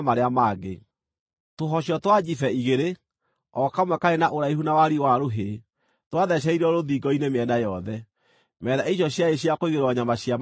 Tũhocio twa njibe igĩrĩ, o kamwe karĩ na ũraihu wa wariĩ wa rũhĩ, twathecereirio rũthingo-inĩ mĩena yothe. Metha icio ciarĩ cia kũigĩrĩrwo nyama cia maruta macio.